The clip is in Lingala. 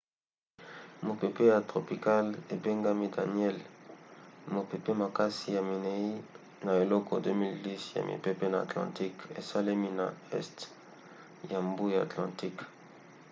mopepe ya tropicale ebengami daniellle mopepe makasi ya minei na eleko 2010 ya mipepe na atlantique esalemi na este ya mbu ya atlantique